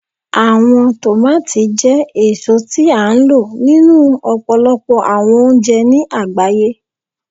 Awọn tomati jẹ eso ti a lo ninu ọpọlọpọ awọn ounjẹ ni agbaye